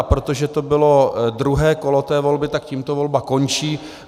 A protože to bylo druhé kolo té volby, tak tímto volba končí.